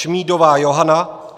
Šmídová Johana